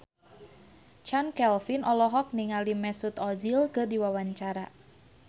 Chand Kelvin olohok ningali Mesut Ozil keur diwawancara